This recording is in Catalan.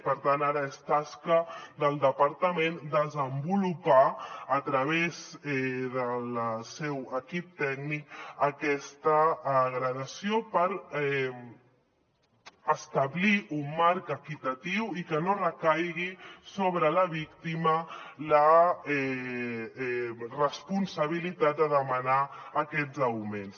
per tant ara és tasca del departament desenvolupar a través del seu equip tècnic aquesta gradació per establir un marc equitatiu i que no recaigui sobre la víctima la responsabilitat de demanar aquests augments